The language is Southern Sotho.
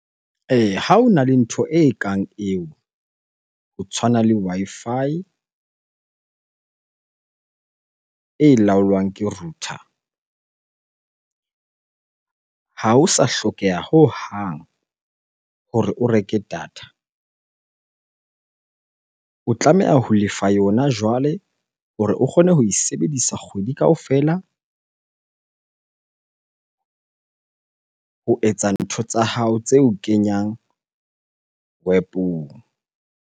Eya, ha hona le ntho e kang eo, ho tshwana le Wi-Fi e laolwang ke router. Ha ho sa hlokeha hohang hore o reke data. O tlameha ho lefa yona jwale hore o kgone ho e sebedisa kgwedi kaofela ho etsa ntho tsa hao tse o kenyang Web-ong.